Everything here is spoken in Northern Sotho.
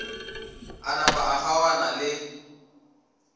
a napa a kgaogana le